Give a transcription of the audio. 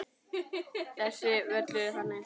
Þessi völlur er þannig.